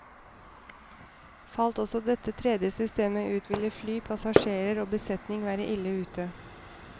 Falt også dette tredje systemet ut, ville fly, passasjerer og besetning være ille ute.